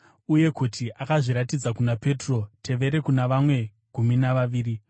uye kuti akazviratidza kuna Petro, tevere kuna vane gumi navaviri.